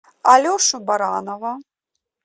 алешу баранова